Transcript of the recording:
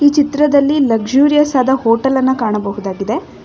ಚಿತ್ರದಲ್ಲಿ ಲಕ್ಸ್ಯೂರಿಯಸ್ ಅದ ಹೋಟೆಲ್ ಅನ್ನ ಕಾಣಬಹುದಾಗಿದೆ.